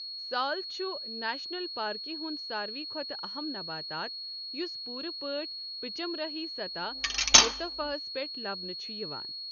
سال چھُ نیشنل پارکہِ ہُنٛد ساروٕے کھۄتہٕ اَہَم نباتات یُس پوٗرٕ پٲٹھۍ پچمرہی سطح مرتفعَس پٮ۪ٹھ لَبنہٕ چھُ یِوان۔